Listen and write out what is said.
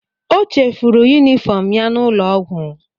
O chefuru yunifọm ya n'ụlọọgwụ.